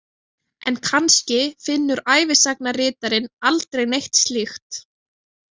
En kannski finnur ævisagnaritarinn aldrei neitt slíkt.